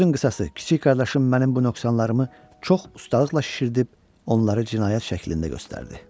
Sözün qısası, kiçik qardaşım mənim bu nöqsanlarımı çox ustalıqla şişirdib onları cinayət şəklində göstərdi.